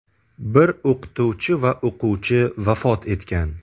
Bir o‘qituvchi va o‘quvchi vafot etgan.